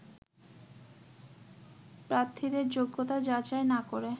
প্রার্থীদের যোগ্যতা যাচাই না করে